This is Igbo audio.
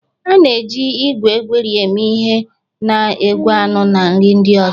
a na-eji igwe egweri eme ihe na-egwe anụ na nri ndị ọzọ